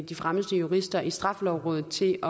de fremmeste jurister i straffelovrådet til